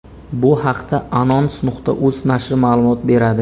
Bu haqda anons.uz nashri ma’lumot beradi.